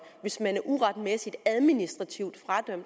hvis man uretmæssigt administrativt